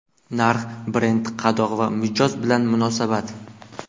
Narx, brend , qadoq va mijoz bilan munosabat.